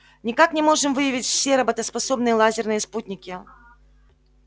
никак не можем выявить все работоспособные лазерные спутники